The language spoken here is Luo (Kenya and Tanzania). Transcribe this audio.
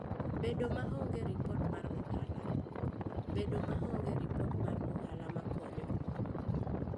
Bedo maonge ripot mar ohala: Bedo maonge ripot mar ohala makonyo.